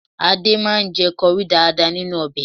Adé máa ń jẹ kọrí dáadáa nínú ọbẹ̀